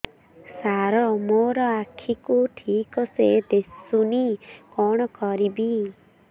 ସାର ମୋର ଆଖି କୁ ଠିକସେ ଦିଶୁନି କଣ କରିବି